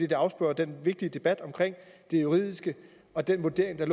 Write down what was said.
det afsporer den vigtige debat om det juridiske og den vurdering der